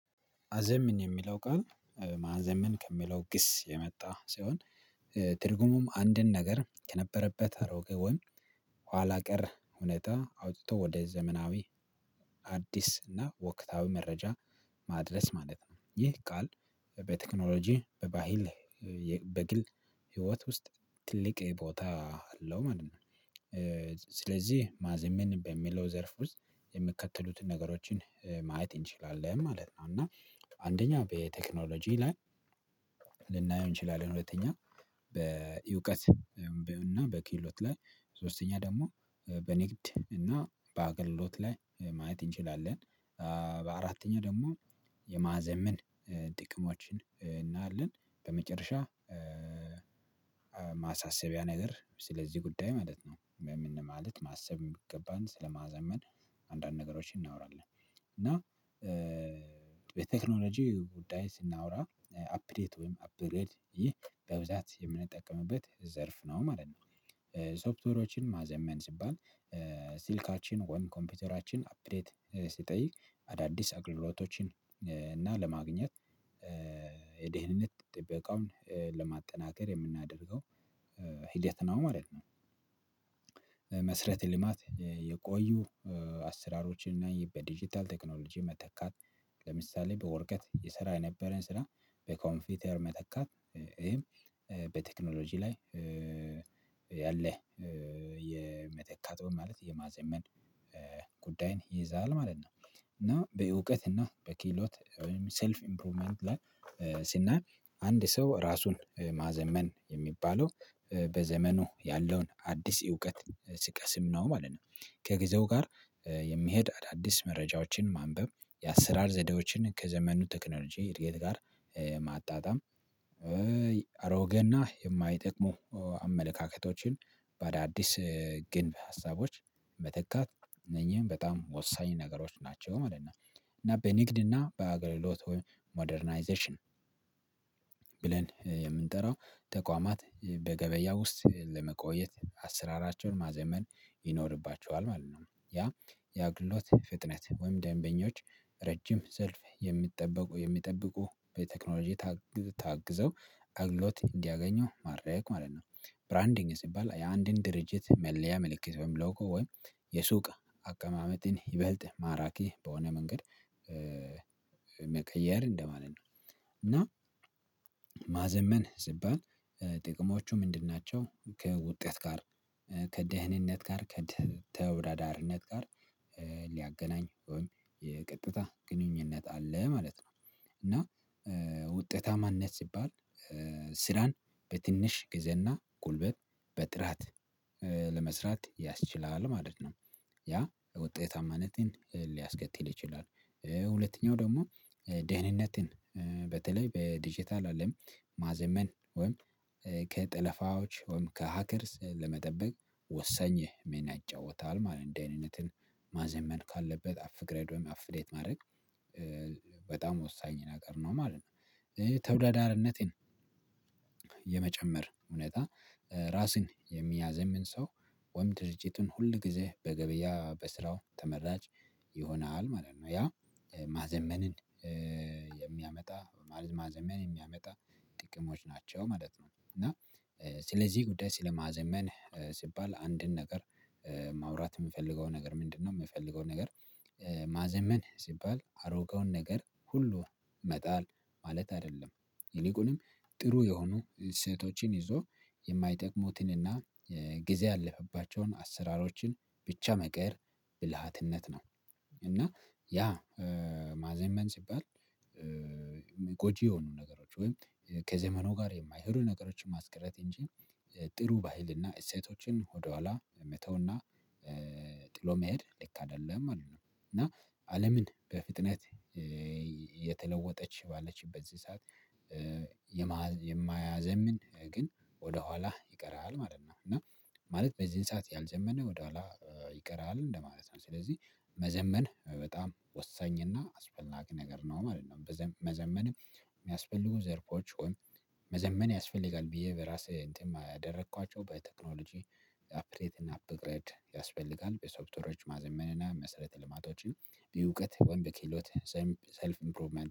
አዘምን የሚለው ቀን ማዘመን ከሚለው ግስ የመጣ ሲሆን ትርጉሙም አንድን ነገር ከነበረበት አሮጌ ወይም ኋላ ቀር እውነታ አውጥቶ ወደ ዘመናዊ አዲስ እና ወቅታዊ መረጃ ማድረስ ማለት ነው ይህ ቃል በቴክኖሎጂ በባህል በግል ህይወት ውስጥ ትልቅ ቦታ አለው ማለት ነው። ስለዚህ ማዘመን በሚለው ዘርፍ ውስጥ የሚከተሉትን ነገሮችን ማየት እንችላለን ማለት ነው እና አንደኛው በቴክኖሎጂ ላይ ልናየው እንችላለን። ሁለተኛ በእውቀት እና በክህሎት ላይ ሶስተኛ ደግሞ በንግድ እና በአገልሎት ላይ ማየት እንችላለን። በአራተኛ ደግሞ የማዕዘን ጥቅሞችን እናያለን በመጨረሻ ማሳሰቢያ ነገር ስለዚህ ጉዳይ ማለት ነው። ምን ማለት ማሰብ ሚገባን ስለማዘመን አንዳንድ ነገሮችን እናወራለን። እና በቴክኖሎጂ ጉዳይ ስናወራ አፕዴት ወይም አፕግሬድ ይህ በብዛት የምንጠቀምበት ዘርፍ ነው ማለት ነው። ሶፍተሮችን ማዘመን ሲባል ስልካችን ወይም ኮምፒውተራችን አፕዴት ሲጠይቅ አዳዲስ አግልሎቶችን እና ለማግኘት የደህንነት ጥበቃውን ለማጠናከር የምናደርገው ሂደት ነው ማለት ነው። መሰረተ ልማት የቆዩ አሰራሮችን እና ይሄ በዲጂታል ቴክኖሎጂ መተካት ለምሳሌ በወረቀት የሰራ የነበረን ስራ በኮንፒውተር መተካት ይሄም በቴክኖሎጂ ላይ የመተካት ማለት የማዘመን ጉዳይን ይይዛል ማለት ነው። እና በእውቀት እና በክህሎት ወይም ሰልፍ ኢምፕሩቭመንት ላይ ስናይ አንድ ሰው ራሱን ማዘመን የሚባለው በዘመኑ ያለውን አዲስ እውቀት ሲቀስም ነው ማለት ነው። ከጊዜው ጋር የሚሄድ አዳዲስ መረጃዎችን ማንበብ የአሰራር ዘዴዎችን ከዘመኑ ቴክኖሎጂ እድገት ጋር ማጣጣም አሮጌና የማይጠቅሙ አመለካከቶችን በአዳዲስ ግንብ ሀሳቦች መተካት እነኚህን በጣም ወሳኝ ነገሮች ናቸው ማለት ነው። እና በንግድ እና በአገልግሎት ወይም ሞደርናይዜሽን ብለን የምንጠራው ተቋማት በገበያ ውስጥ ለመቆየት አስራራቸውን ማዘመን ይኖርባቸዋል ማለት ነው። ያ የአገልግሎትግሎት ፍጥነት ወይም ደንበኞች ረጅም ዘርፍ የሚጠበቁ የሚጠብቁ በቴክኖሎጂ ታግዘው ታግዘው አግሎት እንዲያገኘው ማረግ ማለት ነው። ብራንዲንግ ሲባል የአንድን ድርጅት መለያ ምልክት በሚለውቀው ወይ የሱቅ አቀማመጥን ይበልጥ ማራኪ በሆነ መንገድ መቀየር እንደማለት ነው። እና ማዘመን ሲባል ጥቅሞቹ ምንድን ናቸው? ከውጤት ጋር ከደህንነት ጋር ከተወዳዳሪነት ጋር ሊያገናኝ ወይም የቀጥታ ግንኙነት አለ ማለት ነው። እና ውጤታማነት ሲባል ስራን በትንሽ ጊዜና ጉልበት በጥራት ለመስራት ያስችላል ማለት ነው። ያ ወጤታማነትን ሊያስከትል ይችላል። ሁለተኛው ደግሞ ደህንነትን በተለይ በዲጄታል አለም ማዘመን ወይም ከጠለፋዎች ወይም ከሀከርስ ለመጠበቅ ወሰኝ ሚና ይጫወታል ማለት እንደዚህ አይነትን ማዘመን ካለበት አፕግሬድ ወይም አፕዴት ማድረግ በጣም ወሳኝ ነገር ነው ማለት ነው። ተወዳዳሪነትን የመጨመር እውነት ራስን የሚያዘምን ሰው ወይም ድርጅቱን ሁል ጊዜ በገበያ በስራው ተመራጭ ይሆናል ማለት ነው። ያ ማዘመንን የሚያመጣ ማዘመን የሚያመጣ ጥቅሞች ናቸው ማለት ነው። እና ስለዚህ ጉዳይ ስለማዘመን ሲባል አንድን ነገር ማውራት የምፈልገው ነገር ምንድነው? የምፈልገው ነገር ማዘመን ሲባል አሮጌውን ነገር ሁሉ መጣል ማለት አይደለም ይልቁንም ጥሩ የሆኑ እሴቶችን ይዞ የማይጠቅሙትንና ጊዜ ያለፈባቸውን አሰራሮችን ብቻ መቀየር ብልሃትነት ነው። እና ያ ማዘመን ሲባል ጎጂ የሆኑ ነገሮች ወይም ከዘመኑ ጋር የማይሄዱ ነገሮችን ማስቀረት እንጂ ጥሩ ባህልና እሴቶችን ወደኋላ መተውና ጥሎ መሄድ ልክ አይደለም። አሉ እና አለም በፍጥነት የተለወጠች ባለችበት በዚህ ሰዓት የማይዘምን ግን ወደ ኋላ ይቀራል ማለት ነው። እና ማለት በዚህን ሰዓት ያልዘመነ ወደኋላ ይቀራል እንደማለት ነው። ስለዚህ መዘመን በጣም ወሳኝና አስፈላጊ ነገር ነው ማለት ነው። መዘመንም የሚያስፈልጉ ዘርፎች መዘመን ያስፈልጋል። ብዬ በራሴ እንትን ያደረኳቸው በቴክኖሎጂ ክሬት እና አፕግሬድ ያስፈልጋል በሶፍተሮች ማዘመንና መሰረት ልማቶችን በእውቀት ወይም በክህሎት ሰልፍ ኢምፕሩቭመንት